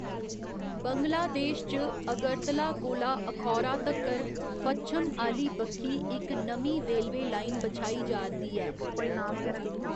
बंगलादेश च अगरतला कोला अखौरा तक्कर पच्छम आह्‌ली बक्खी इक नमीं रेलवे लाइन बछाई जा'रदी ऐ।